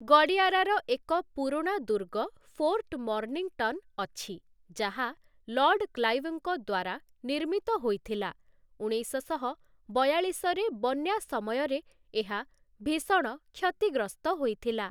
ଗଡ଼ିୟାରାର ଏକ ପୁରୁଣା ଦୁର୍ଗ, ଫୋର୍ଟ ମର୍ନିଂଟନ୍ ଅଛି, ଯାହା ଲର୍ଡ଼ କ୍ଳାଇଭଙ୍କ ଦ୍ୱାରା ନିର୍ମିତ ହୋଇଥିଲା । ଉଣେଇଶଶହ ବୟାଳିଶ ରେ ବନ୍ୟା ସମୟରେ ଏହା ଭୀଷଣ କ୍ଷତିଗ୍ରସ୍ତ ହୋଇଥିଲା ।